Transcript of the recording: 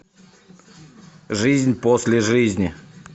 жизнь после жизни